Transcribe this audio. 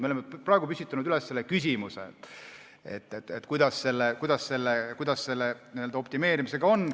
Me oleme praegu püstitanud küsimuse, kuidas selle optimeerimisega on.